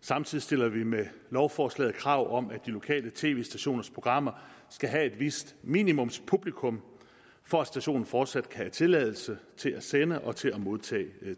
samtidig stiller vi med lovforslaget krav om at de lokale tv stationers programmer skal have et vist minimumspublikum for at stationen fortsat kan have tilladelse til at sende og til at modtage